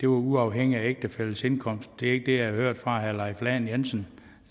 var uafhængigt af ægtefællens indkomst det er ikke det jeg hørte fra herre leif lahn jensen